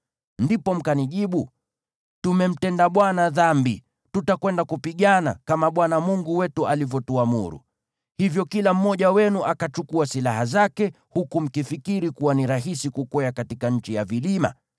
Ndipo mkanijibu, “Tumemtenda Bwana dhambi. Tutakwenda kupigana, kama Bwana Mungu wetu alivyotuamuru.” Hivyo kila mmoja wenu akachukua silaha zake, huku mkifikiri kuwa ni rahisi kukwea katika nchi ya vilima.